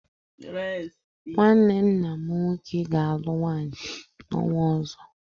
Nnwanne nna m nwoke ga-alụ nwaanyị n'ọnwa ọzọ.